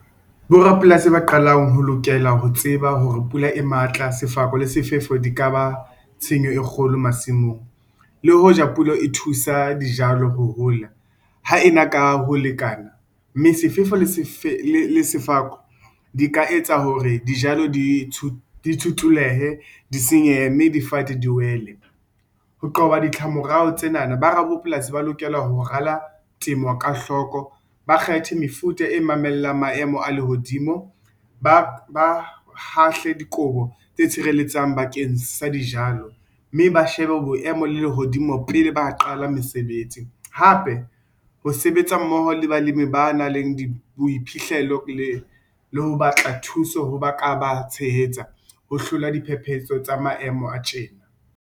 Bo rapolasi ba qalang ho lokela ho tseba hore pula e matla, sefako le sefefo di ka ba tshenyo e kgolo masimong. Le hoja pula e thusa dijalo ho hola ha ena ka ho lekana mme sefefo le Sefako di ka etsa hore dijalo di Tshutulehe di senyehe mme difate di wele. Ho qoba ditlamorao tsenana bo rapolasi ba lokela ho rala temo ka hloko, ba kgethe mefuta e mamelang maemo a lehodimo, ba Hahle dikobo tse tshireletsang bakeng sa dijalo mme ba shebe boemo lehodimo pele ba qala mesebetsi. Hape, ho sebetsa mmoho le balemi ba nang le Boiphihlelo le Ho batla thuso ho ba ka ba tshehetsa ho hlola diphephetso tsa maemo a tjena.